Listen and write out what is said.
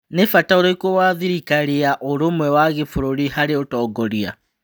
Nĩ-bata ũrĩkũ wa thirikari ya ũrũmwe wa Gĩbũrũri harĩ ũtongoria?